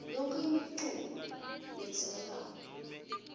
yonkhe imiculu ledzingekako